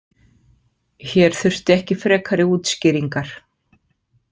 Hér þurfti ekki frekari útskýringar.